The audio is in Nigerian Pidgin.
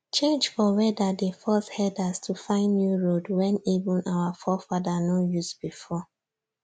change for weather dey force herders to find new road wen even our forefather nor use before